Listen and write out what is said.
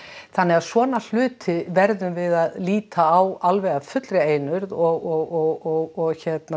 þannig að svona hluti verðum við að líta á alveg af fullri einurð og